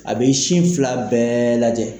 A bɛ sin fila bɛɛ lajɛ